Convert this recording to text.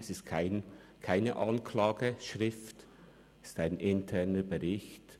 Es ist keine Anklageschrift, es ist ein interner Bericht.